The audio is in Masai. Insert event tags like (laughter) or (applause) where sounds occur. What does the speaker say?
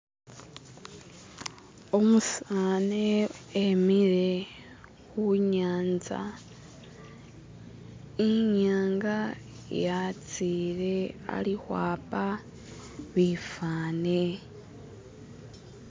(skip) umusani emile hunyanza (skip) inyanga yatsile ali hwapa bifani (skip)